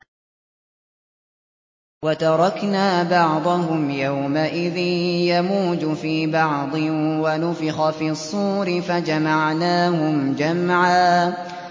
۞ وَتَرَكْنَا بَعْضَهُمْ يَوْمَئِذٍ يَمُوجُ فِي بَعْضٍ ۖ وَنُفِخَ فِي الصُّورِ فَجَمَعْنَاهُمْ جَمْعًا